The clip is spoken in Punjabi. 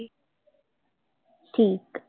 ਠੀਕ ਹੈ